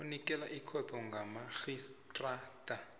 onikela ikhotho kamarhistrada